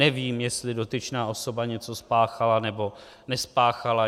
Nevím, jestli dotyčná osoba něco spáchala nebo nespáchala.